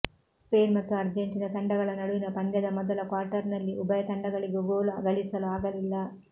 Spain ಮತ್ತು Argentina ತಂಡಗಳ ನಡುವಿನ ಪಂದ್ಯದ ಮೊದಲ ಕ್ವಾರ್ಟರ್ನಲ್ಲಿ ಉಭಯ ತಂಡಗಳಿಗೂ ಗೋಲು ಗಳಿಸಲು ಆಗಲಿಲ್ಲ